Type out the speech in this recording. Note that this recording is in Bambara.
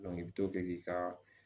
i bɛ to kɛ k'i ka